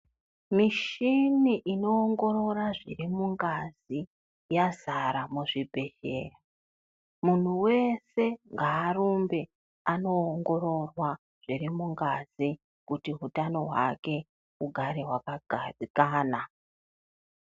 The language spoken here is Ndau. Michini inoongorora zviri mungazi yazara muzvibhehlera muntu weshe ngarumbe inoongororwa zviri mungazi kuti utano hwake ugare wakagadzikana.